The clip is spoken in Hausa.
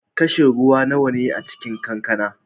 Kashi ruwa nawa ne a cikin kankana?